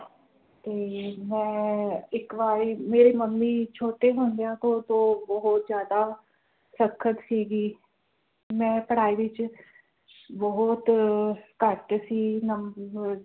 ਤੇ ਮੈਂ ਇਕ ਵਾਰੀ ਮੇਰੀ ਮੰਮੀ ਛੋਟੇ ਹੁੰਦਿਆਂ ਕੋਲ ਹੋਰ ਬੋਹੋਤ ਜ਼ਿਆਦਾ ਸਖਤ ਸੀ ਗੀ। ਮੈਂ ਪੜ੍ਹਾਈ ਵਿਚ ਬੋਹੋਤ ਅਹ ਘੱਟ ਸੀ ਨੰਮ ਅਹ